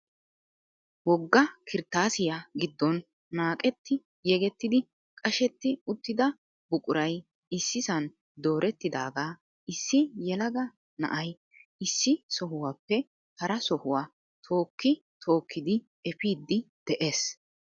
Wogga kirttasiya giddon naaqetti yegettidi qashsjetti uttida buquray issisan doorettidaaga issi yelaga na'ay issi sohuwappe hara sohuwa tookki tookkidi efiidi de'ees.